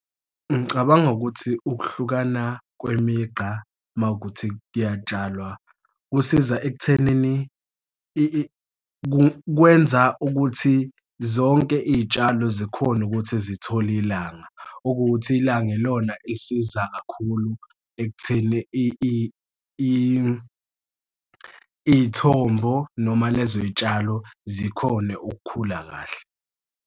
Ngicabanga ukuthi ukuhlukana kwemigqa uma kuwukuthi kuyatshalwa kusiza ekuthenini kwenza ukuthi zonke iy'tshalo zikhone ukuthi zithole ilanga, okuwukuthi ilanga ilona elisiza kakhulu ekutheni iy'thombo noma lezo y'tshalo zikhone ukukhula kahle.